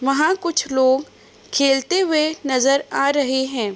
वहाँ कुछ लोग खेलते हुए नज़र आ रहे हैं ।